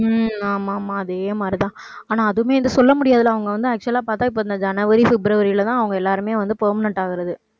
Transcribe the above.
உம் ஆமா ஆமா அதே மாதிரிதான். ஆனா அது ஆனா அதுவுமே இதை சொல்ல முடியாதுல்ல. அவங்க வந்து actual ஆ பார்த்தா, இப்ப இந்த ஜனவரி, பிப்ரவரிலதான் அவங்க எல்லாருமே வந்து, permanent ஆகுறது.